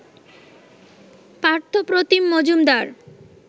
Partha Pratim Majumdar